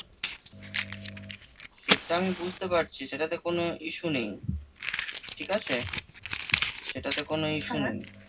সেটা আমি বুঝতে পারছি সেটাতে কোনো issue নেই ঠিক আছে? সেটাতে কোনো issue ।